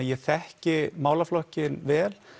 ég þekki málaflokkinn vel